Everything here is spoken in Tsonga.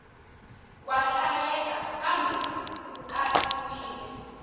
wa hlayeka kambe ku katsiwile